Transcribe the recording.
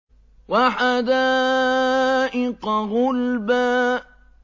وَحَدَائِقَ غُلْبًا